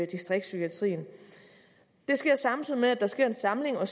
distriktspsykiatrien det sker samtidig med at der sker en samling og